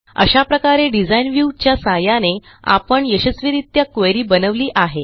अशा प्रकारे design view च्या सहाय्याने आपण यशस्वीरित्या क्वेरी बनवली आहे